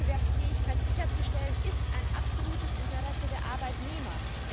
Die Wettbewerbsfähigkeit sicherzustellen, ist ein absolutes Interesse der Arbeitnehmer.